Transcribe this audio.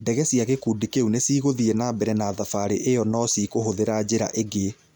Ndege cia gĩkundi kĩu nĩcigũthiĩ nambere na thabarĩ ĩo no cikũhũthĩra njĩra ĩngĩ.